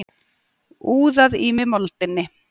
Úðað í mig moldinni.